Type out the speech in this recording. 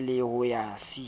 b le ho ya c